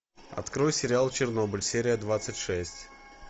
открой сериал чернобыль серия двадцать шесть